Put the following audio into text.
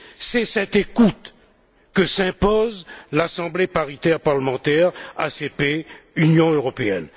C'est cette écoute que s'impose l'Assemblée parlementaire paritaire ACP Union européenne.